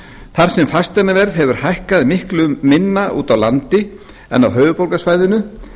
þar sem fasteignaverð hefur hækkað miklu minna úti á landi en á höfuðborgarsvæðinu